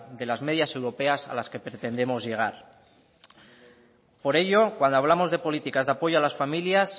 de las medias europeas a las que pretendemos llegar por ello cuando hablamos de políticas de apoyo a las familias